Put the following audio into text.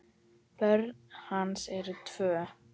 Börn hans eru tvö.